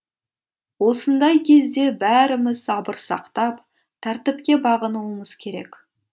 осындай кезде бәріміз сабыр сақтап тәртіпке бағынуымыз керек